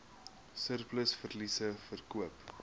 surplus verliese verkoop